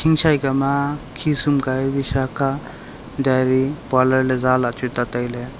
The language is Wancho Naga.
khichai kama khishumkai visakha dairy parlour zala le chu ta tailay.